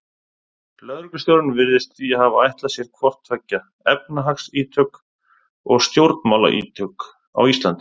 Lögreglustjórinn virðist því hafa ætlað sér hvort tveggja, efnahagsítök og stjórnmálaítök á Íslandi.